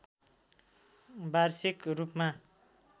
वार्षिक रूपमा